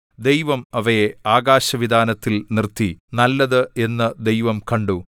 ദൈവം അവയെ ആകാശവിതാനത്തിൽ നിർത്തി നല്ലത് എന്നു ദൈവം കണ്ടു